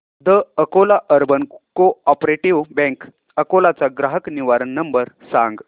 the Akola urban cooperative bank Akola चा ग्राहक निवारण नंबर सांग